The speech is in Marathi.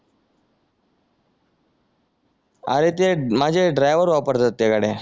अरे ते माझे ड्रायव्हर वापरतात त्या गाड्या